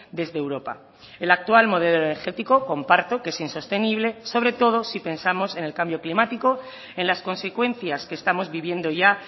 desde europa el actual modelo energético comparto que es insostenible sobre todo si pensamos en el cambio climático en las consecuencias que estamos viviendo ya